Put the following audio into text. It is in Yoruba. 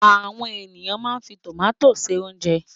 Àwọn ènìyàn máa ń fi tòmátì se oúnjẹ.